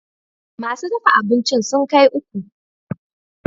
Masu dafa abincin sun kai uku